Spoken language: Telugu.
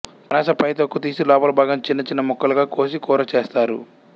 పనస పైతొక్క తీసి లోపలి భాగాన్ని చిన్న చిన్న ముక్కలుగా కోసి కూర చేస్తారు